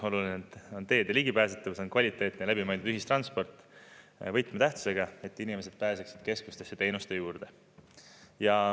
Oluline on teede ligipääsetavus, kvaliteetne ja läbi mõeldud ühistransport on võtmetähtsusega, et inimesed pääseksid keskustesse teenuste juurde.